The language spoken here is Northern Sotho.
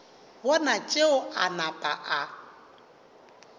bona tšeo a napa a